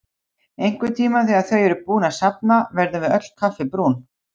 Einhvern tíma þegar þau eru búin að safna verðum við öll kaffibrún.